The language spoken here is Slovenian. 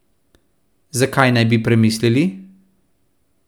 Zakaj naj bi premislili?